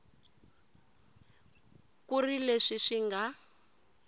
ku ri leswi swi nga